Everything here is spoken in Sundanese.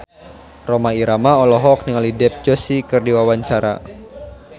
Rhoma Irama olohok ningali Dev Joshi keur diwawancara